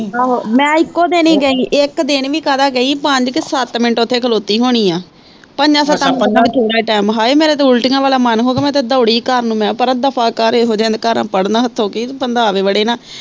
ਆਹੋ ਮੈਂ ਇਕੋ ਦਿਨ ਈ ਗਈ ਇੱਕ ਦਿਨ ਵੀ ਕਾਹਦਾ ਗਈ ਪੰਜ ਕਿ ਸੱਤ ਮਿੰਟ ਓੱਥੇ ਖਲੋਤੀ ਹੋਣੀ ਆ, ਪੰਜਾਂ ਸੱਤਾਂ ਮਿੰਟਾਂ ਚ ਥੋੜਾ ਟਾਈਮ, ਹਾਏ ਮੇਰਾ ਤਾਂ ਉਲਟੀਆਂ ਵਾਲਾ ਮਨ ਹੋਵੇ, ਮੈਂ ਤਾਂ ਦੋੜੀ ਘਰ ਨੂੰ, ਮੈਂ ਕਿਹਾ ਦਫਾ ਕਰ ਇਹੋ ਜਿਹਿਆ ਦੇ ਘਰ ਪੜਨ ਹੱਥੋਂ ਕਿ ਬੰਦਾ ਆਵੇ ਬੜੇ ਨਾ।